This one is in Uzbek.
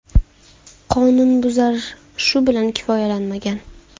Qonunbuzar shu bilan kifoyalanmagan.